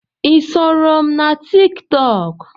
Ị soro m na tiktok?